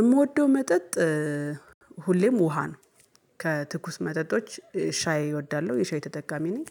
የምወደው መጠጥ ሁሌም ውሃ ነው። ከትኩስ መጠጦች ሻይ እወዳለሁ፤ የሻይ ተጠቃሚ ነኝ።